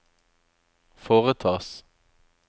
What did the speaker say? foretas